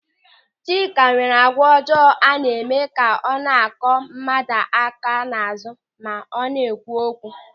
Chika nwere àgwà ọjọọ a na-eme ka ọ na-akụ mmadụ aka n'azụ ma ọ na-ekwu okwu.